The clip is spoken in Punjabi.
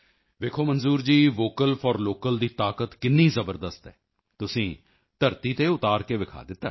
ਵੇਖੋ Manzoor ji vocal for local ਦੀ ਤਾਕਤ ਕਿੰਨੀ ਜ਼ਬਰਦਸਤ ਹੈ ਤੁਸੀਂ ਧਰਤੀ ਤੇ ਉਤਾਰ ਕੇ ਵਿਖਾ ਦਿੱਤਾ ਹੈ